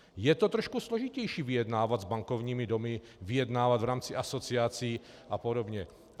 Je to trošku složitější vyjednávat s bankovními domy, vyjednávat v rámci asociací a podobně.